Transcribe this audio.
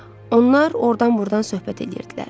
Onlar ordan-burdan söhbət eləyirdilər.